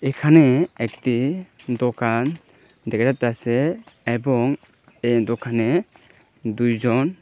এখানে একটি দোকান দেকা যাইতাসে এবং এই দোকানে দুইজন--